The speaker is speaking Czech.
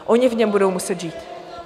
Oni v něm budou muset žít.